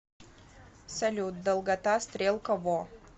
салют долгота стрелка во